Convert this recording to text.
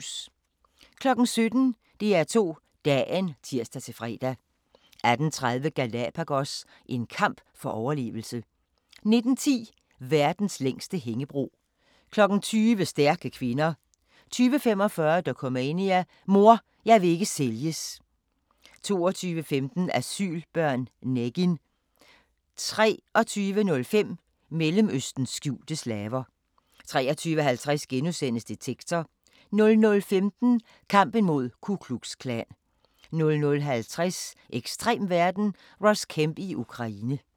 17:00: DR2 Dagen (tir-fre) 18:30: Galapagos – en kamp for overlevelse 19:10: Verdens længste hængebro 20:00: Stærke kvinder 20:45: Dokumania: Mor, jeg vil ikke sælges 22:15: Asylbørn - Negin 23:05: Mellemøstens skjulte slaver 23:50: Detektor * 00:15: Kampen mod Ku Klux Klan 00:50: Ekstrem verden – Ross Kemp i Ukraine